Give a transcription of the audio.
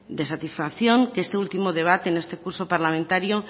de satisfacción que en este último debate de este curso parlamentario